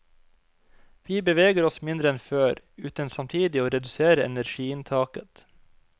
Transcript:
Vi beveger oss mindre enn før, uten samtidig å redusere energiinntaket.